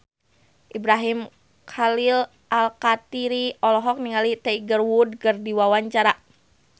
Ibrahim Khalil Alkatiri olohok ningali Tiger Wood keur diwawancara